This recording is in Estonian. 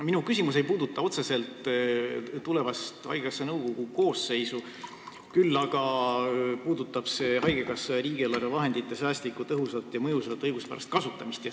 Minu küsimus ei puuduta otseselt haigekassa nõukogu tulevast koosseisu, küll aga puudutab see haigekassa ja riigieelarve vahendite säästlikku, tõhusat ja mõjusat ning õiguspärast kasutamist.